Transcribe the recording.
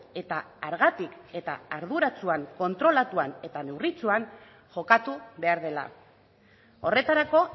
eta hargatik eta arduratsuan kontrolatuan eta neurritsuan jokatu behar dela horretarako